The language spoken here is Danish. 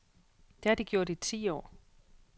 Det har de gjort i ti år.